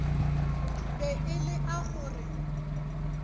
be e lea go re